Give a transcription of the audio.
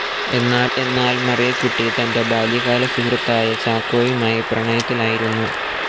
എന്നാൽ മറിയക്കുട്ടി തന്റെ ബാല്യകാല സുഹൃത്തായ ചാക്കോയുമായി പ്രണയത്തിലായിരുന്നു.